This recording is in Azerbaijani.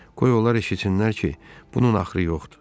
Qoy onlar eşitsinlər ki, bunun axırı yoxdur.